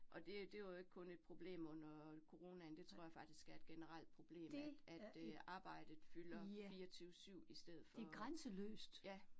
Og det det var jo ikke kun et problem under coronaen, det tror jeg faktisk er et generelt problem, at at øh arbejdet fylder 24 7 i stedet for ja